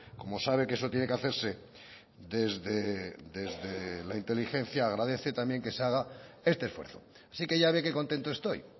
como sabe que eso tiene que hacerse desde la inteligencia agradece también que se haga este esfuerzo así que ya ve qué contento estoy